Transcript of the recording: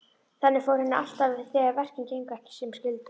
Þannig fór henni alltaf þegar verkin gengu ekki sem skyldi.